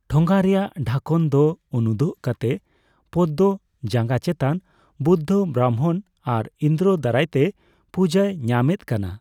ᱴᱷᱚᱸᱜᱟ ᱨᱮᱭᱟᱜ ᱰᱷᱟᱠᱚᱱ ᱫᱚ ᱩᱱᱩᱫᱩᱜ ᱠᱟᱛᱮ ᱯᱚᱫᱢᱚ ᱡᱟᱸᱜᱟ ᱪᱮᱛᱟᱱ ᱵᱩᱫᱫᱷᱚ ᱵᱨᱟᱢᱵᱷᱚᱱ ᱟᱨ ᱤᱱᱫᱨᱚ ᱫᱟᱨᱟᱭᱛᱮ ᱯᱩᱡᱟᱹᱭ ᱧᱟᱢᱮᱫ ᱠᱟᱱᱟ ᱾